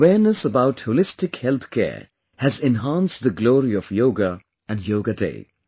The awareness about Holistic Health Care has enhanced the glory of yoga and Yoga day